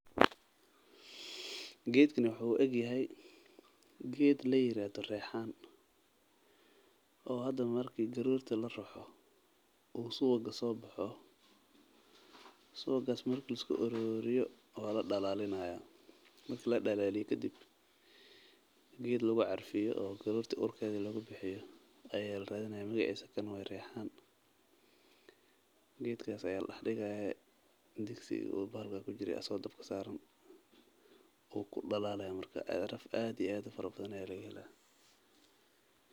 Geedkan wuxuu u eg yahay geed ladaha riixan oo subaga soo baxo waa la dalaalinya geed carfiyo ayaa la dex digaaya kan waye.